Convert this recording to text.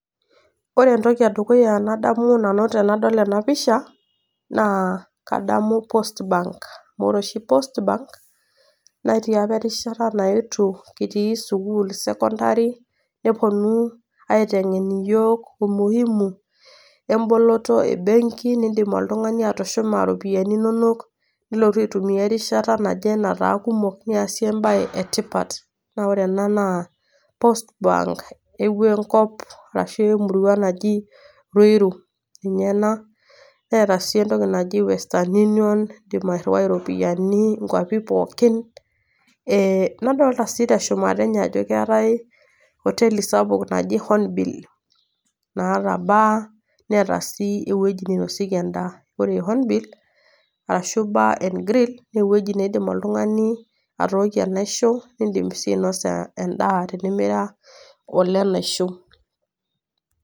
Ore entoki e dukuya nadamu nanu tenadol ena pisha, naa kadamu Post bank, naa Kore post bank netii opa erishata naetuo kitii sukuul e sekondari, nepuonu aiteng'en iyiok umuhimu emboloto e mbegi niindim oltung'ani atushuma iropiani inono nilotu aitumia erishata naje nataa kumok, niasie embae e tipat. Naa ore ena naa post bank, epuo enkop ashu epuo emurua naji ruiru. Ninye ena neata sii entoki naji western union, indim airuwai iropiani inkwapi pooki. Nadolita sii teshumata enye ajo keatai hoteli sapuk naji Hornbill, naata bar, neata sii ewueji neinosieki endaa . Ore ine neji Hornbill ashu bar and grill naa ewueji naidim oltung'ani atookie enaisho niindim ainosa endaa tenimira olenaisho .